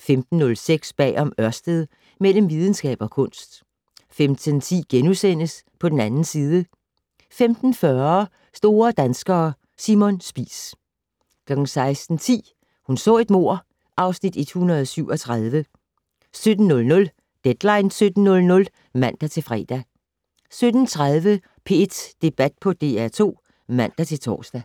15:06: Bag om Ørsted - Mellem videnskab og kunst 15:10: På den 2. side * 15:40: Store danskere - Simon Spies 16:10: Hun så et mord (Afs. 137) 17:00: Deadline 17.00 (man-fre) 17:30: P1 Debat på DR2 (man-tor)